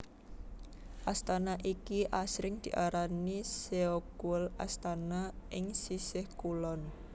Astana iki asring diarani Seogwol Astana ing Sisih Kulon